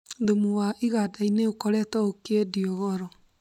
Thumu wa iganda-inĩ ũkoretwo ũkĩendio goro